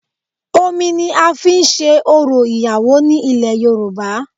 Omi ni a fi n se orò ìyàwó ní ilẹ̀ Yorùbá